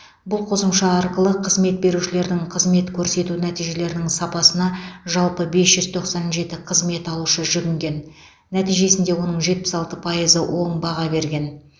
бұл қосымша арқылы қызмет берушілердің қызмет көрсету нәтижелерінің сапасына жалпы бес жүз тоқсан жеті қызмет алушы жүгінген нәтижесінде оның жетпіс алты пайызы оң баға берген